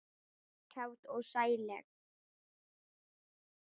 Kát og sælleg.